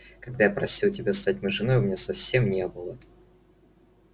когда я просил тебя стать моей женой у меня совсем не было таких мыслей